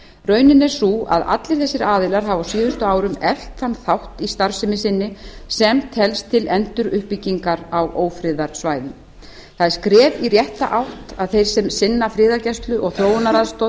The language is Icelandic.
raunin er sú að allir þessir aðilar hafa á síðustu árum eflt þann þátt í starfsemi sinni sem telst til enduruppbyggingar á ófriðarsvæðum það er skref í rétta átt að þeir sem sinna friðargæslu og þróunaraðstoð